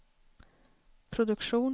produktion